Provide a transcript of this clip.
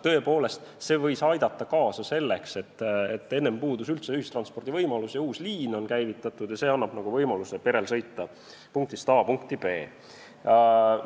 Tõesti, see võib aidata kaasa sellele, et kui enne puudus üldse ühistranspordi võimalus, siis nüüd, kui on käivitatud uus liin, annab see perele võimaluse sõita punktist A puntki B.